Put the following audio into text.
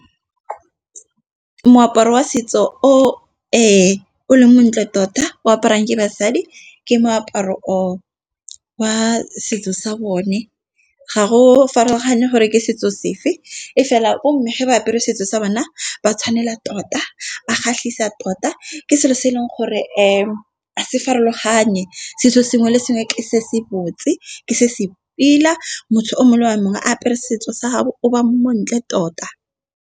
Moaparo wa setso o le montle tota o aparang ke basadi, ke moaparo o wa setso sa bone. Ga go farologane gore ke setso sefe, e fela bo mme ge ba apere setso sa bona ba tshwanela tota, ba kgatlhisa tota. Ke selo se e leng gore a se farologanye, setso sengwe le sengwe ke se se botse ke se se pila motho o mongwe le o mongwe a apere setso sa gabo o ba mo ntle tota.